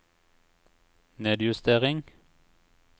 nedjustering